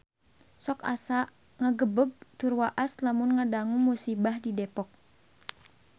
Sok asa ngagebeg tur waas lamun ngadangu musibah di Depok